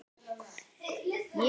Ég veit allt um það.